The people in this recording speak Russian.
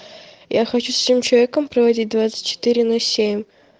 я хочу с этим человеком проводить двадцать четыре на семь